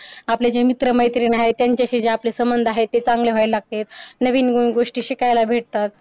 आपले जे मित्रमैत्रिणी आहे त्यांच्याशी जे समंध आहे ते चांगले व्हायला लागत नवीन गोष्टी शिकायला भेटतात